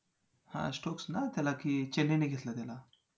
हां stokes ना त्याला की चेन्नईन घेतलं त्याला